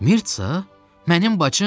Mirça, mənim bacım?